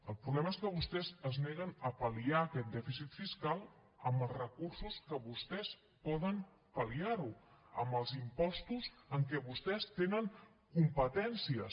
el problema és que vostès es neguen a pal·liar aquest dèficit fiscal amb els recursos que vostès poden palliar ho amb els impostos en què vostès tenen competències